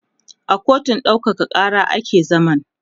a kotun ɗaukaka Kara ake zaman